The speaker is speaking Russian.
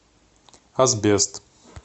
асбест